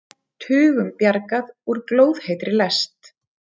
Tugum bjargað úr glóðheitri lest